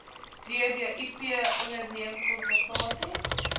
dbip onderneem konsultasie